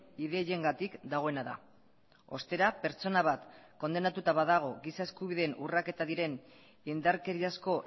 ideiengatik dagoena da ostera pertsona bat kondenatuta badago giza eskubideen urraketa diren indarkeriazko